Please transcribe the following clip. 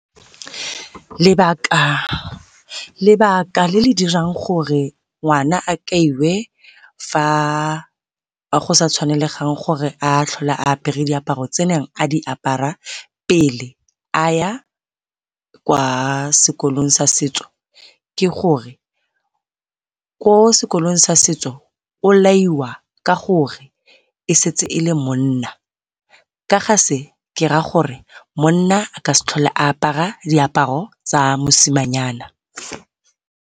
lebaka le le dirang gore ngwana a kaiwe fa go sa tshwanelegang gore a tlhole a apare diaparo tse neng a di apara pele a ya kwa sekolong sa setso ke gore ko sekolong sa setso o laiwa ka gore e setse e le monna, ka ga se ke raya gore monna a ka se tlhole a apara diaparo tsa mosimanyana.